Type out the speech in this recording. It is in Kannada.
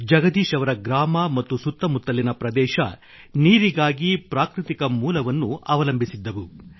ಜಗದೀಶ್ ಅವರ ಗ್ರಾಮ ಮತ್ತು ಸುತ್ತಮುತ್ತಲಿನ ಪ್ರದೇಶ ನೀರಿಗಾಗಿ ಪ್ರಾಕೃತಿಕ ಮೂಲವನ್ನು ಅವಲಂಬಿಸಿದ್ದವು